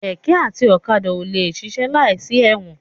Kẹ̀kẹ́ àti ọ̀kadà ò lè ṣiṣẹ́ láìsí ẹ̀wọ̀n.